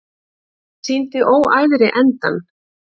Sýndi óæðri endann